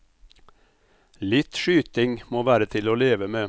Litt skyting må være til å leve med.